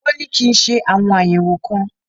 Wọn ní kí n ṣe àwọn àyẹ̀wò kan.